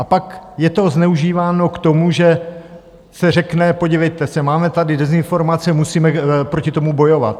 A pak je to zneužíváno k tomu, že se řekne, podívejte se, máme tady dezinformace, musíme proti tomu bojovat.